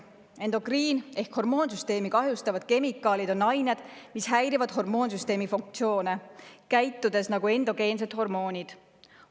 Endokriin‑ ehk hormoonsüsteemi kahjustavad kemikaalid on ained, mis häirivad hormoonsüsteemi funktsioone, käitudes nagu endogeensed hormoonid.